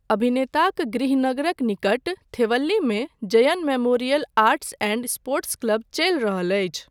अभिनेताक गृहनगरक निकट थेवल्लीमे Jayan memorial arts and sports club चलि रहल अछि।